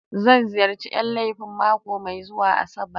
Zan ziyarci Yan laifi mako mai zuwa Asabar.